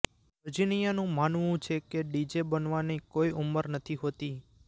વર્જિનિયાનું માનવું છે કે ડીજે બનવાની કોઇ ઉંમર નથી હોતી